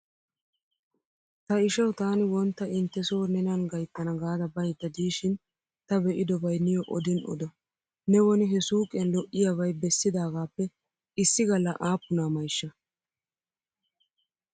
Ta ishawu taani wontta intte so nenan gayttana gaada baydda diishin ta be'idobay niyo odin odo. Ne woni he suuqiyan lo'iyabay bessidaagaappe issi galla aappuna mayshsha?